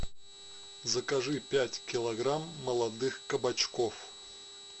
закажи пять килограмм молодых кабачков